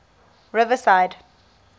riverside